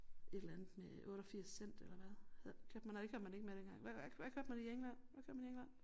Et eller andet med 88 cent eller hvad kørte man nej det kørte man ikke med dengang hvad hvad kørte man i England hvad kører man i England?